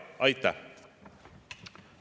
Aitäh!